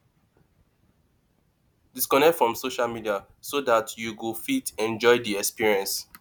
disconnect from social media so dat you go fit enjoy di experience